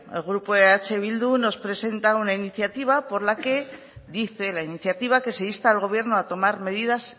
el grupo eh bildu nos presenta una iniciativa por la que dice la iniciativa que se insta al gobierno a tomar medidas